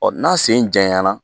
Ɔ n'a sen janyana